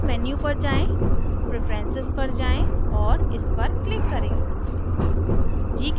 edit menu पर जाएँ preferences पर जाये और इस पर click करें